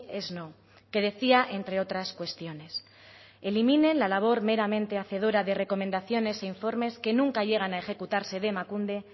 es no que decía entre otras cuestiones eliminen la labor meramente hacedora de recomendaciones e informes que nunca llegan a ejecutarse de emakunde